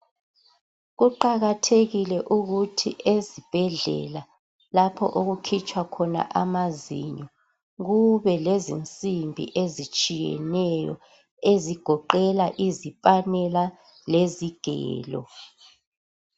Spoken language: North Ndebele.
Kuqakathekile ukuthi ezibhedlela lapho okukhitshwa khona amazinyo kubelezinsimbi ezitshiyeneyo ezigoqela izipanela lezigelo.